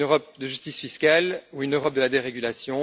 Une Europe de justice fiscale ou une Europe de la dérégulation?